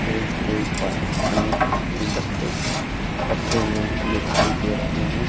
Stage के ऊपर अनेक गुलदस्ते रखे हुए दिखाई दे रहे हैं।